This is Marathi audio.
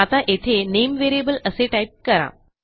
आता येथे नामे व्हेरिएबल असे टाईप करा